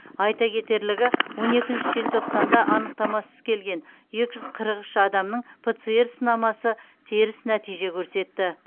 айта кетерлігі он екінші желтоқсанда анықтамасыз келген екі жүз қырық үш адамның пцр сынамасы теріс нәтиже көрсетті